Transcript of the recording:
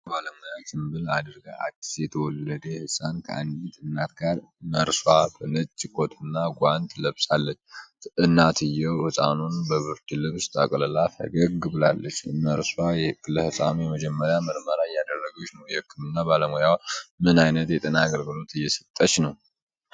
የጤና ባለሙያ ጭምብል አድርጋ አዲስ የተወለደ ሕፃን ከአንዲት እናት ጋር። ነርሷ በነጭ ኮትና ጓንት ለብሳለች። እናትየው ሕፃኑን በብርድ ልብስ ጠቅልላ ፈገግ ብላለች። ነርሷ ለሕፃኑ የመጀመሪያ ምርመራ እያደረገች ነው። የሕክምና ባለሙያዋ ምን አይነት የጤና አገልግሎት እየሰጠች ነው?